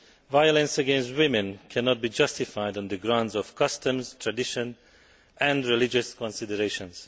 Violence against women cannot be justified on the grounds of customs, tradition or religious considerations.